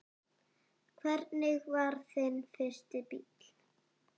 Hvernig var þinn fyrsti bíll?